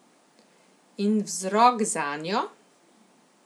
In vzrok zanjo?